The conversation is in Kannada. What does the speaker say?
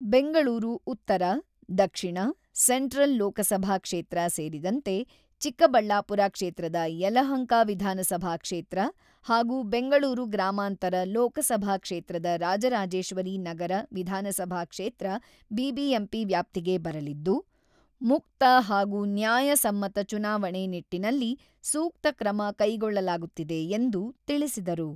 ಬೆಂಗಳೂರು ಉತ್ತರ, ದಕ್ಷಿಣ, ಸೆಂಟ್ರಲ್ ಲೋಕಸಭಾ ಕ್ಷೇತ್ರ ಸೇರಿದಂತೆ ಚಿಕ್ಕಬಳ್ಳಾಪುರ ಕ್ಷೇತ್ರದ ಯಲಹಂಕ ವಿಧಾನಸಭಾ ಕ್ಷೇತ್ರ ಹಾಗೂ ಬೆಂಗಳೂರು ಗ್ರಾಮಾಂತರ ಲೋಕಸಭಾ ಕ್ಷೇತ್ರದ ರಾಜರಾಜೇಶ್ವರಿ ನಗರಿ ವಿಧಾನಸಭಾ ಕ್ಷೇತ್ರ ಬಿಬಿಎಂಪಿ ವ್ಯಾಪ್ತಿಗೆ ಬರಲಿದ್ದು, ಮುಕ್ತ ಹಾಗೂ ನ್ಯಾಯ ಸಮ್ಮತ ಚುನಾವಣೆ ನಿಟ್ಟಿನಲ್ಲಿ ಸೂಕ್ತ ಕ್ರಮ ಕೈಗೊಳ್ಳಲಾಗುತ್ತಿದೆ ಎಂದು ತಿಳಿಸಿದರು.